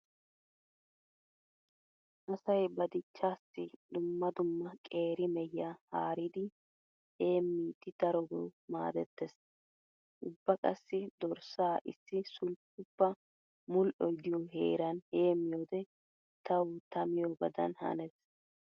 Asay ba dichchaassi dumma dumma qeeri mehiya haaridi heemmidi darobawu maaddettees. Ubba qassi dorssaa issi sulppuppa mudhdhoy diyo heeran heemmiyode tawu ta miyobadan hanees.